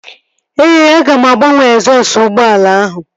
Ee, aga m agbanwe egzọsụ ụgbọala ahụ